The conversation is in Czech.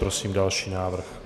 Prosím další návrh.